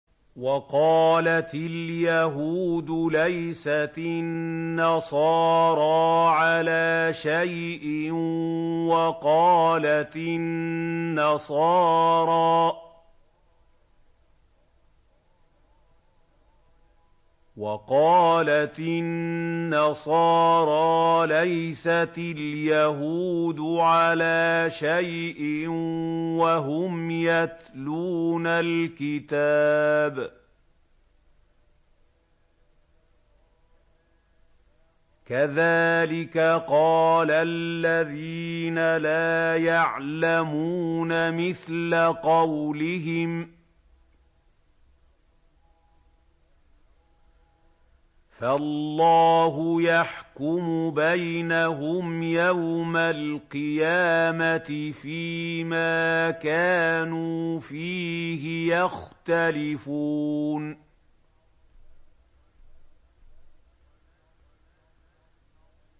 وَقَالَتِ الْيَهُودُ لَيْسَتِ النَّصَارَىٰ عَلَىٰ شَيْءٍ وَقَالَتِ النَّصَارَىٰ لَيْسَتِ الْيَهُودُ عَلَىٰ شَيْءٍ وَهُمْ يَتْلُونَ الْكِتَابَ ۗ كَذَٰلِكَ قَالَ الَّذِينَ لَا يَعْلَمُونَ مِثْلَ قَوْلِهِمْ ۚ فَاللَّهُ يَحْكُمُ بَيْنَهُمْ يَوْمَ الْقِيَامَةِ فِيمَا كَانُوا فِيهِ يَخْتَلِفُونَ